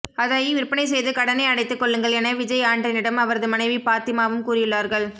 அதை விற்பனை செய்து கடனை அடைத்துக் கொள்ளுங்கள் என விஜய் ஆண்டனியும் அவரது மனைவி பாத்திமாவும் கூறியுள்ளார்கள்